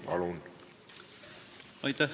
Palun!